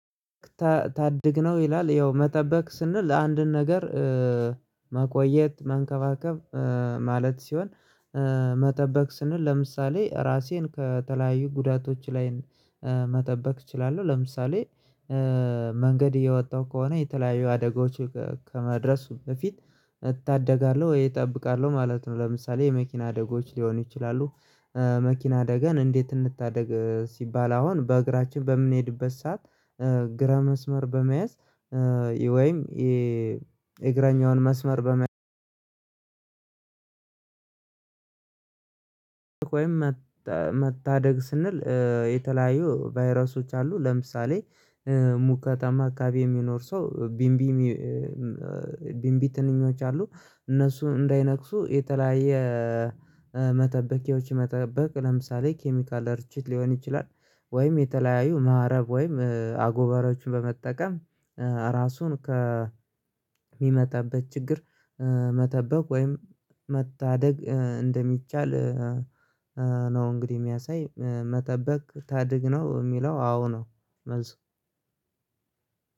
ታድግነው ይላል ያው መጠበቅ ስንል አንድን ነገር መቆየት መንከባከብ ማለት ሲሆን መጠበቅ ስንል ለምሳሌ ራሴን ከተለያዩ ጉዳቶች ላይም መጠበቅ እችላለሁ። ለምሳሌ መንገድ እየወጣሁ ከሆነ የተለያዩ አደጋዎች ከመድረሱ በፊት እታደጋለሁ ወይ እጠብቃለሁ ማለት ነው። ለምሳሌ የመኪና አደጎች ሊሆኑ ይችላሉ መኪና አደጋን እንዴት? እንድታደግ ሲባል አሁን በእግራችን በምንሄድበት ሰዓት ግራ መስመር በመያዝ ወይም የእግራኛውን መስመር በመያዝ ወይም መታደግ ስንል የተለያዩ ቫይረሶች አሉ። ለምሳሌ ከተማ አካባቢ የሚኖር ሰው። ቢንቢ ትንኞች አሉ እነሱ እንዳይነክሱ የተለያየ መጠበቂያዎች መጠበቅ ለምሳሌ ኬሚካል ርቺት ሊሆን ይችላል። ወይም የተለያዩ ማህረብ ወይም አጎበሮችን በመጠቀም ራሱን ከሚመጣበት ችግር መጠበቅ ወይም መታደግ እንደሚቻል ነው። እንግዲህ የሚያሳይ መጠበቅ ታድግ ነው የሚለው አዎ ነው። መልስ